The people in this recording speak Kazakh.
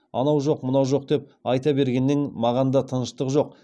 анау жоқ мынау жоқ деп айта бергеннен маған да тыныштық жоқ